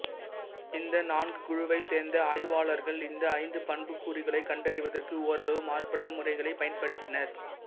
இந்த நான்கு குழுவைக் சேர்ந்த ஆய்வாளர்கள் இந்த ஐந்து பண்புக்கூறுகளைக் கண்டறிவதற்கு ஓரளவு மாறுபட்ட முறைகளைப் பயன்படுத்தினர்